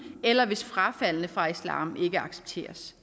eller hvis frafaldne fra islam ikke accepteres